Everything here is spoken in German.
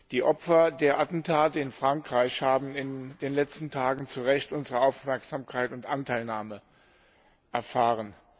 Die Opfer der Attentate in Frankreich haben in den letzten Tagen zu Recht unsere Aufmerksamkeit und Anteilnahme erfahren.